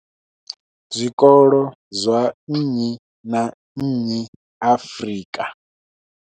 Zwikolo zwa nnyi na nnyi Afrika.